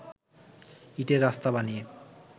ইঁটের রাস্তা বানিয়ে